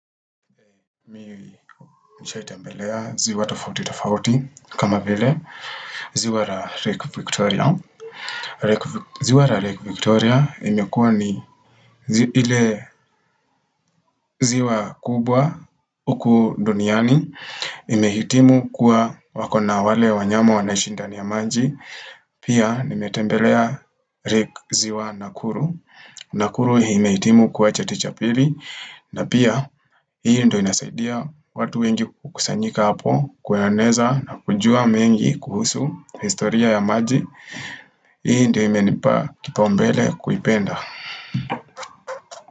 Mi nishaitembelea ziwa tofauti tofauti kama vile ziwa la lake viktoria ziwa la lake viktoria imekua ni ile ziwa kubwa huku duniani Imehitimu kuwa wako na wale wanyama wanaishi ndani ya maji Pia nimetembelea rik ziwa nakuru Nakuru imehitimu kuwa chati cha pili na pia, hii ndo inasaidia watu wengi kukusanyika hapo, kuyaeneza na kujua mengi kuhusu historia ya maji. Hii ndo imenipa kipaumbele kuipenda.